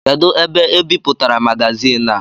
Kedụ ebe ebipụtara magazin a?